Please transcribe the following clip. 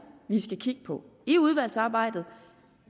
vi skal kigge på i udvalgsarbejdet